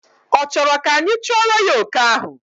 Ọ chọrọ ka anyị chụọrọ ya oke ahụ?